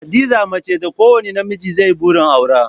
Hadiza mace da kowane namiji zai yi burin aura